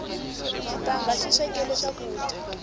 xitanga xi swekela swakudya